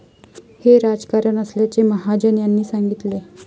हे राजकारण असल्याचे महाजन यांनी सांगितले.